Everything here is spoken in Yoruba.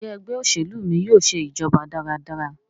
Njé Ẹgbẹ́ òṣèlú mí yóò ṣe ìjọba dára dára?